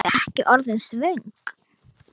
Varstu ekki orðin svöng?